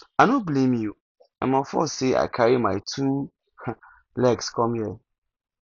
i no blame you na my fault say i carry my two um legs come here